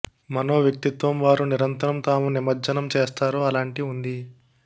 మనో వ్యక్తిత్వం వారు నిరంతరం తాము నిమజ్జనం చేస్తారు అలాంటి ఉంది